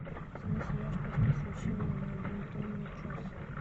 снизь яркость освещения на один тон на час